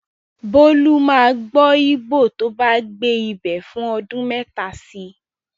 Bólú máa gbọ́ Íbò tó bá gbé ibẹ̀ fún ọdun mẹ́ta si.